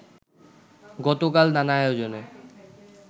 গতকাল নানা আয়োজনে